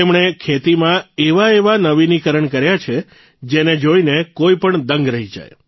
તેમણે ખેતીમાં એવા એવા નવીનીકરણ કર્યા છે જેને જોઇને કોઇપણ દંગ રહી જાય